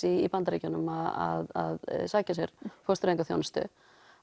í Bandaríkjunum að sækja sér fóstureyðingaþjónustu